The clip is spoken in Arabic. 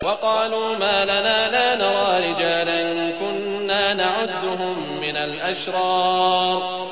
وَقَالُوا مَا لَنَا لَا نَرَىٰ رِجَالًا كُنَّا نَعُدُّهُم مِّنَ الْأَشْرَارِ